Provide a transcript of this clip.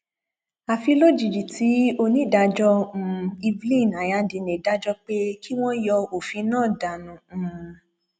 àfi lójijì tí onídàájọ um evelyn anyadiné dájọ pé kí wọn yọ òfin náà dànù um